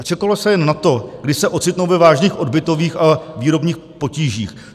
A čekalo se jen na to, kdy se ocitnou ve vážných odbytových a výrobních potížích.